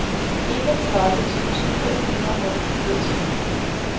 enogtredive tusind fem hundrede og fireogtyve